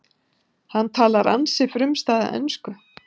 Hann talar ansi frumstæða ensku